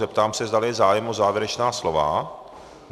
Zeptám se, zdali je zájem o závěrečná slova.